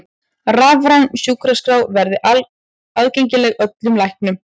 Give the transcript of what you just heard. Rafræn sjúkraskrá verði aðgengileg öllum læknum